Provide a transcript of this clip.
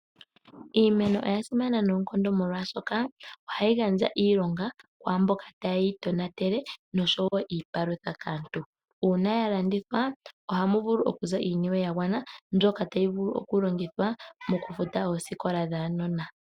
Iimeno oya simana noonkondo molwaashoka, ohayi gandja iilonga kwaamboka taye yi tonatele oshowo iipalutha kaantu ,uuna ya landithwa ohamu vulu okuza iiniwe ya gwana mbyoka tayi vulu oku longithwa moku futa oosikola dhaanona.